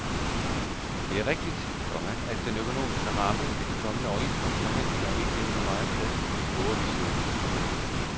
Det er rigtigt, komma at den økonomiske ramme ved de kommende overenskomstforhandlinger ikke levner megen plads til de store visioner. punktum